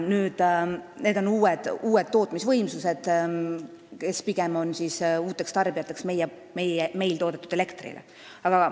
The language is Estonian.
Tegu saab olema uute tootmisvõimsustega, tootjatega, kes on meil toodetud elektri uued tarbijad.